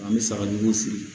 An bɛ sagajiw fili